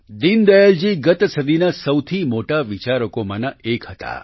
દીનદયાલજી ગત સદીના સૌથી મોટા વિચારકોમાંનાં એક છે